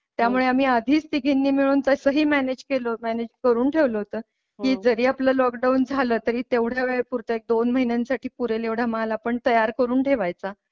त्यामुळे आम्ही आधीच तिघींनी मिळून तसही मॅनेज केल होत. मॅनेज करून ठेवल होत की जरी आपलं लॉकडाऊन झालं तरी तेवढ्या वेळे पुरते दोन महिन्यां साठी पुरेल एवढा मला पण तयार करून ठेवायचा.